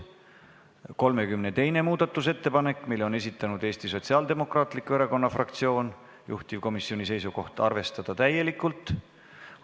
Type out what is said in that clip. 32. muudatusettepaneku on esitanud Eesti Sotsiaaldemokraatliku Erakonna fraktsioon, juhtivkomisjoni seisukoht: arvestada seda täielikult.